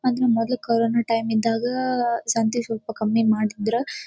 ಅಂದ್ರ್ ಮೊದ್ಲ corona time ಇದ್ದಾಗ ಸಂತಿ ಸ್ವಲ್ಪ ಕಮ್ಮಿ ಮಾಡ್ತಿದ್ರ್.